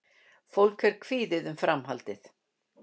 Fólk er kvíðið um framhaldið